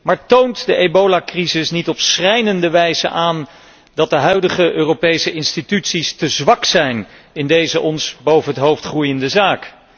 Maar toont de ebolacrisis niet op schrijnende wijze aan dat de huidige Europese instituties te zwak zijn in deze ons boven het hoofd groeiende zaak?